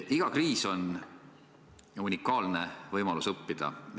Iga kriis on unikaalne võimalus õppida.